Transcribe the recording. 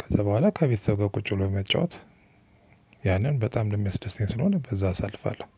ከዛ በኋላ ከቤተሰብ ጋር ቁጭ ብሎ መጫወት። ያንን በጣም የሚያስደስተኝ ስለሆነ በዛ አሳልፋለሁ።